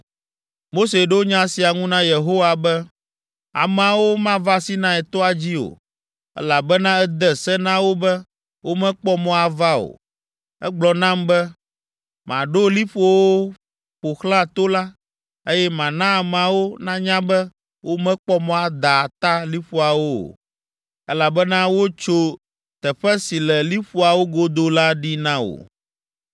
Mose ɖo nya sia ŋu na Yehowa be, “Ameawo mava Sinai toa dzi o, elabena ède se na wo be womekpɔ mɔ ava o. Ègblɔ nam be maɖo liƒowo ƒo xlã to la, eye mana ameawo nanya be womekpɔ mɔ ada ata liƒoawo o, elabena wotso teƒe si le liƒoawo godo la ɖi na wò.”